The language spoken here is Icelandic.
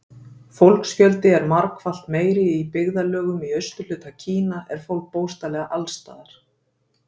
Fólksfjöldi er margfalt meiri Í byggðarlögum í austurhluta Kína er fólk bókstaflega alls staðar.